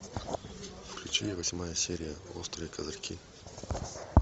включи восьмая серия острые козырьки